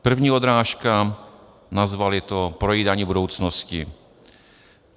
První odrážka, nazvali to Projídání budoucnosti.